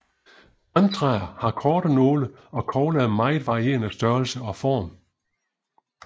Grantræer har korte nåle og kogler af meget varierende størrelse og form